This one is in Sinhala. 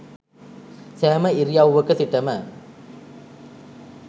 සෑම ඉරියව්වක සිටම